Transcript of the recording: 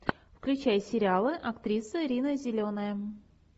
включай сериалы актриса рина зеленая